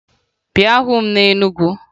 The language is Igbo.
Bịa hụ m na Enugu!